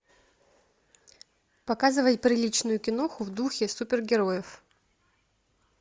показывай приличную киноху в духе супергероев